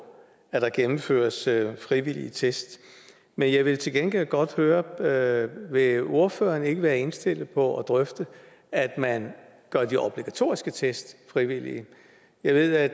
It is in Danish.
at der gennemføres frivillige test men jeg vil til gengæld godt høre høre vil ordføreren ikke være indstillet på at drøfte at man gør de obligatoriske test frivillige jeg ved at